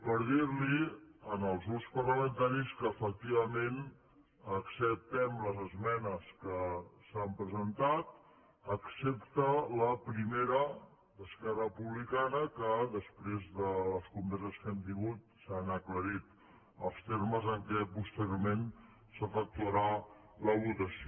per dir los als grups parlamentaris que efectivament acceptem les esmenes que s’han presentat excepte la primera d’esquerra republicana que després de les converses que hem tingut s’han aclarit els termes en què posteriorment s’efectuarà la votació